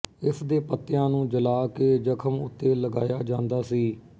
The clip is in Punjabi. ਇਸ ਦੇ ਪੱਤਿਆਂ ਨੂੰ ਜਲਾ ਕੇ ਜ਼ਖਮ ਉੱਤੇ ਲਗਾਇਆ ਜਾਂਦਾ ਸੀ